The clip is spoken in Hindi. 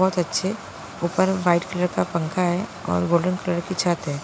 बहुत अच्छे ऊपर वाइट कलर का पंखा है और गोल्डन कलर की छत है